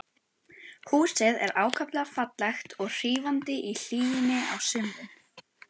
Húsið er ákaflega fallegt og hrífandi í hlýjunni á sumrin.